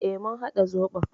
E, mun haɗa zoɓon.